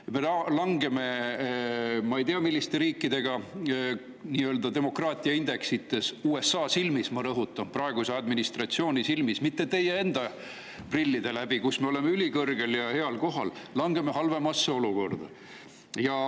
Meie, ja ma ei tea, milliste riikide nii‑öelda demokraatiaindeks langeb USA silmis – ma rõhutan: praeguse administratsiooni silmis, mitte läbi teie enda prillide, kus me oleme ülikõrgel ja heal kohal – ja me langeme halvemasse olukorda.